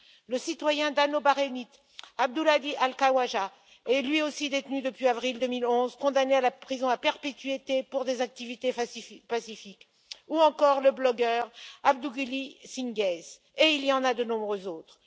Le citoyen dano bahreïnien Abdulhadi al Khawaja est lui aussi détenu depuis avril 2011, condamné à la prison à perpétuité pour des activités pacifiques, ou encore le blogueur Abduljalil al Singace, et il y en a de nombreux autres.